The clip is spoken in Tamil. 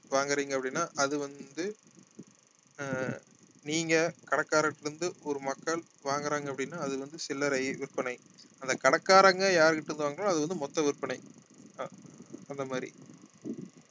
வாங்கறீங்க அப்படின்னா அது வந்து ஆஹ் நீங்க கடைக்காரர்ட்ட இருந்து ஒரு மக்கள் வாங்கறாங்க அப்படின்னா அது வந்து சில்லறை விற்பனை அந்த கடைக்காரங்க யார்கிட்ட இருந்து வாங்குறாங்களோ அது வந்து மொத்த விற்பனை ஆஹ் அந்த மாதிரி